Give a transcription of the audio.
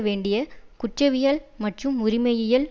வேண்டிய குற்றவிய மற்றும் உரிமையியல்